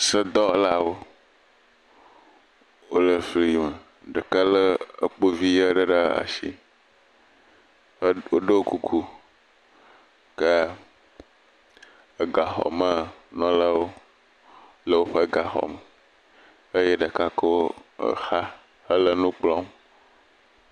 Sedɔwɔlawo le fi ma ɖeka lé kpo vi aɖe ɖe asi woɖo kuku ke, egaxɔ me melewo le woƒe gaxɔ me eye ame ɖeka kɔ xa le nu kplɔm.